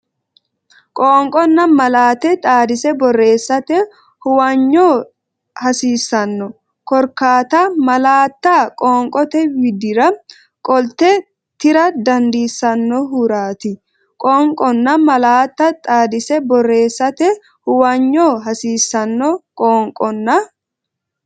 Qoonqonna malaate xaadise borreessate huwanyo hasiissanno korkaatta malaatta qoonqote widdira qolte tira dandiissannohuraati Qoonqonna malaate xaadise borreessate huwanyo hasiissanno Qoonqonna.